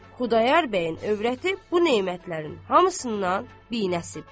Xudayar bəyin övrəti bu nemətlərin hamısından binəsibdir.